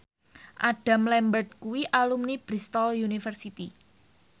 Adam Lambert kuwi alumni Bristol university